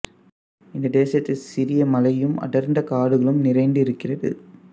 இந்த தேசத்தில் சிறிய மலையும் அடர்ந்த காடுகளும் நிறைந்து இருக்கிறது